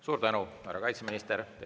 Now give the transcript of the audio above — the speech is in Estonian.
Suur tänu, härra kaitseminister!